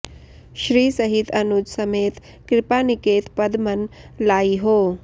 श्री सहित अनुज समेत कृपानिकेत पद मन लाइहौं